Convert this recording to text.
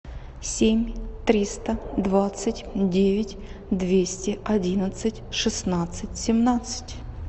семь триста двадцать девять двести одиннадцать шестнадцать семнадцать